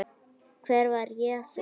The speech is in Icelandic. En hver var Jesús?